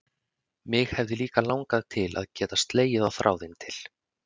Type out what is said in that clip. Mig hefði líka langað til að geta slegið á þráðinn til